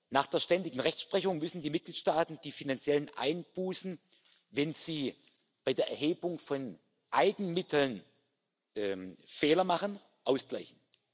Nach der ständigen Rechtsprechung müssen die Mitgliedstaaten die finanziellen Einbußen, wenn sie bei der Erhebung von Eigenmitteln Fehler machen, ausgleichen.